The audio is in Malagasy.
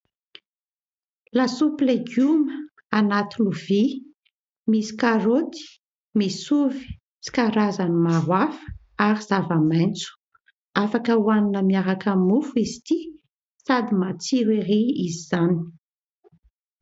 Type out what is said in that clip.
Lasopy legioma anaty lovia : misy karaoty, misy ovy sy karazany maro hafa ary zavamaitso, afaka ho hanina miaraka amin'ny mofo izy ity sady matsiro ery izy izany.